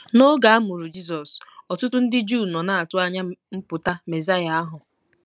N’oge a mụrụ Jizọs, ọtụtụ ndị Juu nọ na-atụ anya mpụta Mesaya ahụ.